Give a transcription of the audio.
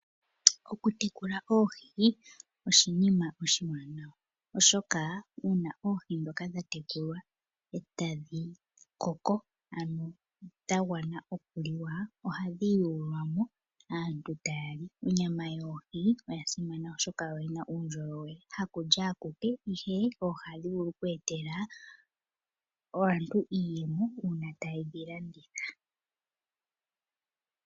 Okutekula oohi oshinima oshiwanawa, oshoka uuna oohi ndhoka dha tekulwa e tadhi koko ano dha gwana okuliwa, ohadhi yuulwa mo, aantu taya li. Onyama yoohi oya simana oshoka oyi na uundjolowele. Hakulya akuke, ihe oohi ohadhi vulu okweetela aantu iiyemo uuna taye dhi landitha.